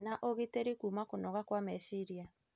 na ũgitĩri kuma kũnoga kwa meciria.